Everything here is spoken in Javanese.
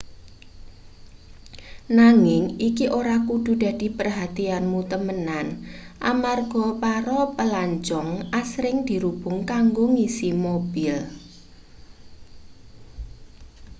nanging iki ora kudu dadi perhatianmu temenan amarga para plancong asring dirubung kanggo ngisi mobil